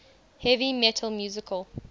heavy metal musical